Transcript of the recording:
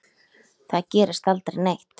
Þar gerist aldrei neitt.